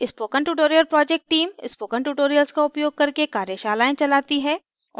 spoken tutorial project team spoken tutorials का उपयोग करके कार्यशालाएँ चलाती है